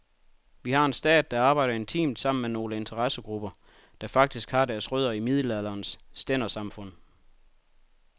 Vi har en stat, der arbejder intimt sammen med nogle interessegrupper, der faktisk har deres rødder i middelalderens stændersamfund.